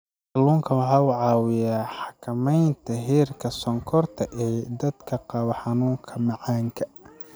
Kalluunku waxa uu caawiyaa xakamaynta heerka sonkorta ee dadka qaba xanuunka macaanka.